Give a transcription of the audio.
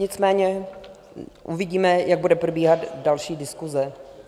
Nicméně uvidíme, jak bude probíhat další diskuse.